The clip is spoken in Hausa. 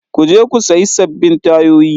Ku je ku sayi sabbin tayoyi.